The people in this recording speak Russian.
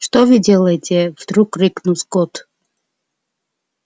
что вы делаете вдруг крикнул скотт